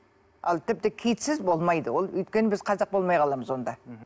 ал тіпті китсіз болмайды ол өйткені біз қазақ болмай қаламыз онда мхм